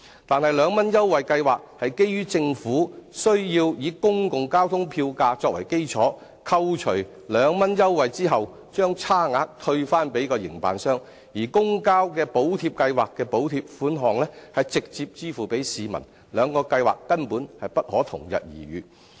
但是，兩元優惠計劃是基於政府須以公共交通的票價作為基礎，扣除兩元優惠後把差額退回營辦商，而補貼計劃的補貼款項是直接支付給市民，兩項計劃根本不能同日而語。